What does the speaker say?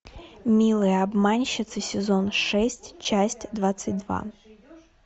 милые обманщицы сезон шесть часть двадцать два